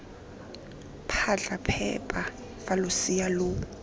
phatlha phepa fa losea lo